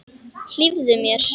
Hlífðu mér.